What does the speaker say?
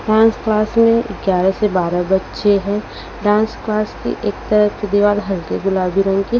dance class में ग्यारह से बारह बच्चे हैं डांस क्लास की एक तरफ की दीवार हल्के गुलाबी रंग की--